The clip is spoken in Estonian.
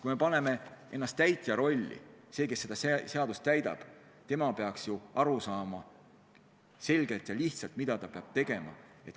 Kui me paneme ennast täitja rolli, siis on selge, et see, kes seda seadust täidab, peaks ju kergelt aru saama, mida ta peab tegema.